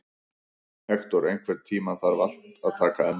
Hektor, einhvern tímann þarf allt að taka enda.